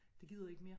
Det gider jeg ikke mere